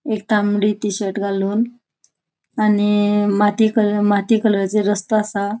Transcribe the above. एक तामड़ी T shirt घालून आणि माती कलर माती कलराचे रस्तो असा.